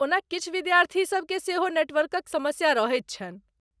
ओना किछु विद्यार्थी सभ के सेहो नेटवर्कक समस्या रहैत छन्हि।